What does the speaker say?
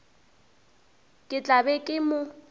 ke tla be ke mo